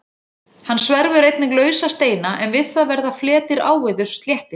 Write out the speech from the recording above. Hann sverfur einnig lausa steina en við það verða fletir áveðurs sléttir.